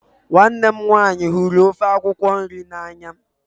Nwanne mụ nwaanyị hụrụ ofe akwụkwo nri na anya.